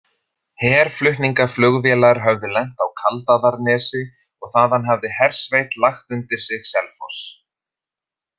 Herflutningaflugvélar höfðu lent á Kaldaðarnesi og þaðan hafði hersveit lagt undir sig Selfoss.